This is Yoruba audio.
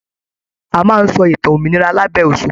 A máa n sọ ìtàn òmìrán labẹ òṣùpá.